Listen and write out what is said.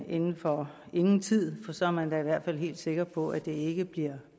inden for ingen tid for så er man da i hvert fald helt sikker på at det ikke bliver